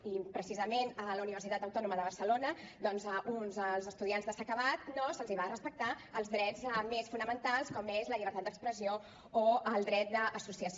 i precisament a la universitat autònoma de barcelona doncs als estudiants de s’ha acabat no se’ls van respectar els drets més fonamentals com són la llibertat d’expressió o el dret d’associació